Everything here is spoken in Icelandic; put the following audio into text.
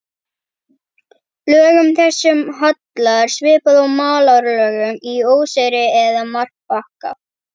Lögum þessum hallar svipað og malarlögum í óseyri eða marbakka.